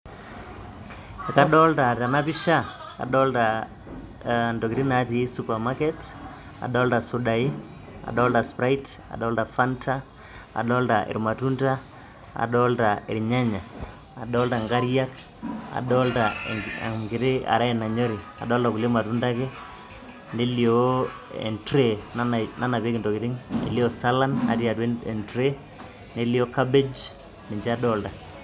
Kadolita tena pisha intokitin natii supermarket naijio isudai aataa Sprite, Fanta. Nelio siininche irnyanya nelio inkariak nelio sii e tray nanapieki intokitin, enkare nanyori